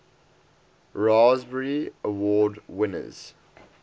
raspberry award winners